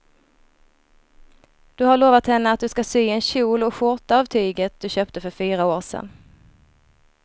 Du har lovat henne att du ska sy en kjol och skjorta av tyget du köpte för fyra år sedan.